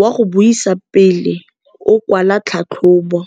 wa go buisa pele o kwala tlhatlhobô.